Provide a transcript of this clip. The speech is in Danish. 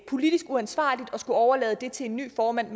politisk uansvarligt at skulle overlade det til en ny formand